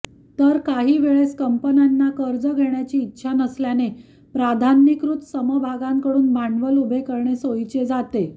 तर काही वेळेस कंपन्यांना कर्ज घेण्याची इच्छा नसल्याने प्राधान्यीकृत समभागांमधून भांडवल उभे करणे सोयीचे जाते